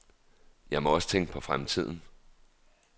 Jeg må også tænke på fremtiden.